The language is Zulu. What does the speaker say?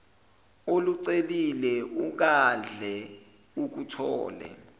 olucelile ungahle ukuthole